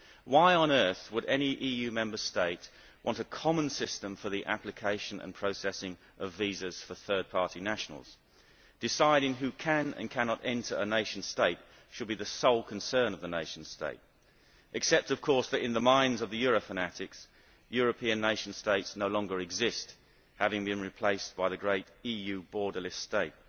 Why on earth would any EU Member State want a common system for the application and processing of visas for third party nationals? Deciding who can and cannot enter a nation state should be the sole concern of the nation state except that, in the minds of the Euro fanatics, European nation states no longer exist, having been replaced by the great EU borderless state.